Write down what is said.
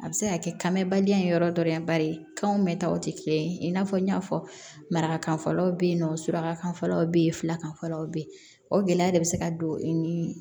A bɛ se ka kɛ kan mɛ badi ye yɔrɔ dɔ ye bari kan mɛn ta o tɛ kelen ye i n'a fɔ n y'a fɔ marakan fɔlɔ bɛ yen nɔ surakalaw bɛ yen filakan fɔlaw bɛ yen o gɛlɛya de bɛ se ka don i ni